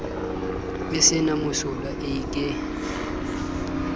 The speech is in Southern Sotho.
e se na mosola eke